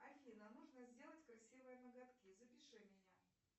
афина нужно сделать красивые ноготки запиши меня